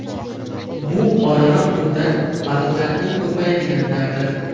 Bu oraliq muddat – baliqlarning ko‘payadigan davri.